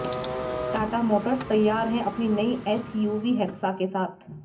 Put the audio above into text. Tata motors तैयार है अपनी नई एसयूवी हेक्सा के साथ